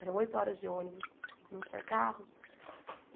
Eram oito horas de ônibus, não tinha carro.